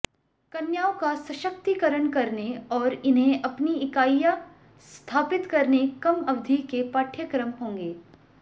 कन्याओं का सशक्तिकरण करने और इन्हें अपनी इकाईयां स्थापित करने कम अवधि के पाठ्यक्रम होंगे